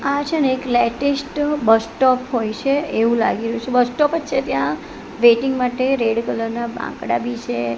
આ છેને એક લેટેસ્ટ બસ સ્ટોપ હોય છે એવુ લાગી રહ્યુ છે બસ સ્ટોપ જ છે ત્યાં વેઇટિંગ માટે રેડ કલર ના બાકડા બી છે.